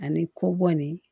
Ani kɔ bɔ ni